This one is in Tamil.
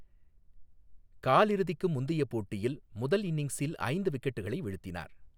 காலிறுதிக்கு முந்தைய போட்டியில், முதல் இன்னிங்ஸில் ஐந்து விக்கெட்டுகளை வீழ்த்தினார்.